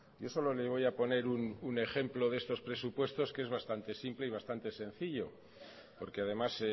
yo solo le voy a poner un ejemplo de estos presupuestos que es bastante simple y bastante sencillo porque además